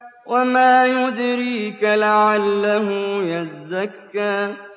وَمَا يُدْرِيكَ لَعَلَّهُ يَزَّكَّىٰ